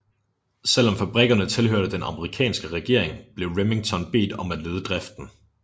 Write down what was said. Selv om fabrikkerne tilhørte den amerikanske regering blev Remington bedt om at lede driften